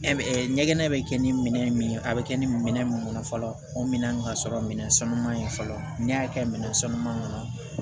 ɲɛgɛn bɛ kɛ ni minɛn min ye a bɛ kɛ ni minɛn min kɔnɔ fɔlɔ o minɛn ka sɔrɔ minɛn sanuman ye fɔlɔ n'i y'a kɛ minɛn sanuma kɔnɔ